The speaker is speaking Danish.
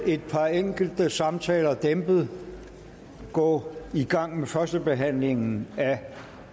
et par enkelte samtaler bliver dæmpet gå i gang med førstebehandlingen af